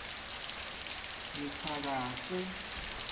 ngitsakase